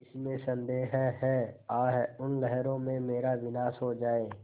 इसमें संदेह है आह उन लहरों में मेरा विनाश हो जाए